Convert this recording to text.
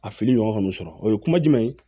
A fili ɲɔgɔn ka n'u sɔrɔ o ye kuma jumɛn ye